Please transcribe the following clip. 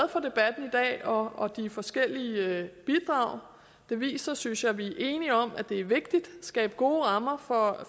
for og de forskellige bidrag det viser synes jeg at vi er enige om at det er vigtigt at skabe gode rammer for